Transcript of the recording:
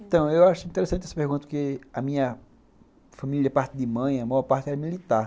Então, eu acho interessante essa pergunta, porque a minha família é parte de mãe, a maior parte é militar.